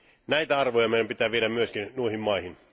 Näitä arvoja meidän pitää viedä myöskin noihin maihin.